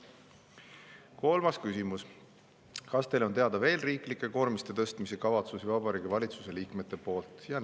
Kolmas küsimus: "Kas Teile on teada veel riiklike koormiste tõstmise kavatsusi Vabariigi Valitsuse liikmete poolt?